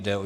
Jde o